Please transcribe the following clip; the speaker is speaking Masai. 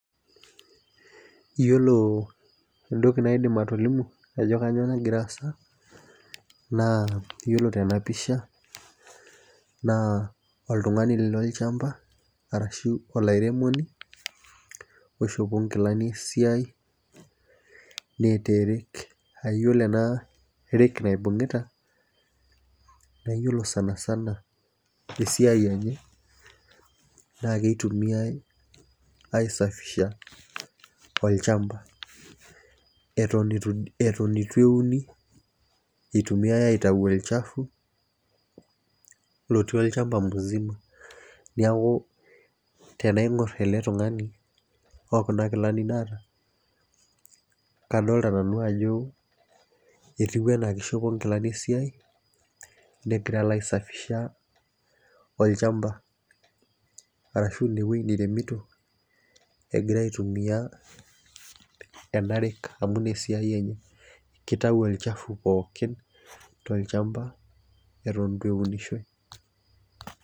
Iyiolo entoki naidim atolimu ajo kainyioo nagira aasa naa iyiolo tena pisha, naa oltungani lolchampa arashu olairemoni, oishopo nkilani esiai, neeta e rake iyiolo ena rake naibungita naa iyiolo sanisana, esiai enye naa kitumiae aisafisha olchampa. etone eitu euni eitumiae aitae olchafu, lotii olchampa mzima. niaku tenaingor ele tungani o Kuna Kilani naata, kadoolta nanu ajo etiu anaa kishopo nkilani esiai negirae alo aisafisha, olchampa, Arashu ine wueji niremito amu Ina esiai enye. kitayu olchafu pookin tolchampa, Eton eitu eunishoi.